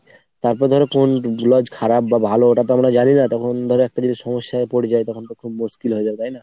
তারপর ধরো কোন lodge খারাপ বা ভালো তো ওটাতো আমরা জানি না তখন ধরো একটা যদি সমস্যায় পরে যাই তখন তো খুব মুশকিল হয়ে যাবে তাই না ?